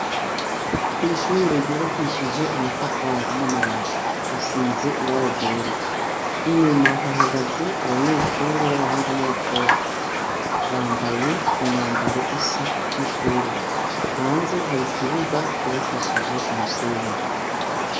Kw'ishure yubakishijwe amatafari n'amabati, risize ibara ryera, inyuma hahagaze abanyeshure b'abahungu n'abakobwa, bambaye imyambaro isa y'ishure. Hanze har'ikibuga cubakishije umusenyi.